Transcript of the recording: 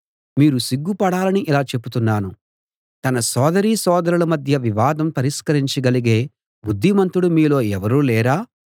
మీరు సిగ్గుపడాలని ఇలా చెబుతున్నాను తన సోదరీసోదరుల మధ్య వివాదం పరిష్కరించగలిగే బుద్ధిమంతుడు మీలో ఎవరూ లేరా